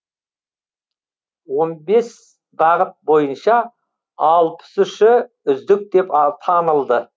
он бес бағыт бойынша алпыс үші үздік деп танылды